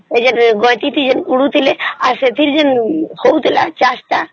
ଆଉ ଏଠି ଯିମିତି ଗତିଥିଲେ କଦୁଥିଲେ ହଉଥିଲା ଚାଷ ତା